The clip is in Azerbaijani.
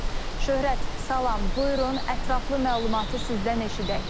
Şöhrət, salam, buyurun, ətraflı məlumatı sizdən eşidək.